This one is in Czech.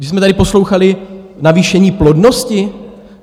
Že jsme tady poslouchali navýšení plodnosti?